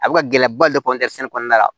A bɛ ka gɛlɛyaba de kɔni kɛ sɛnɛ kɔnɔna la